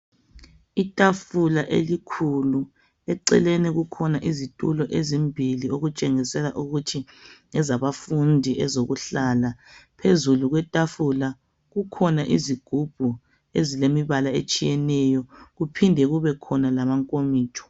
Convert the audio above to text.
Itafula elikhulu eceleni kukhona izitulo ezimbilli okutshengisela ukuthi ngezabafundi ezokuhlala phezulu kwetafula kukhona izigubhu ezilemibala etshiyeneyo kuphinde kubekhona lamankomitsho